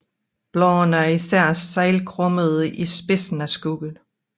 Bladene er især seglkrummede i spidsen af skuddet